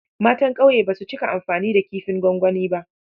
Matan ƙauye ba su cika amfani da kifin gwangwani b